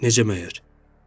Necə məgər?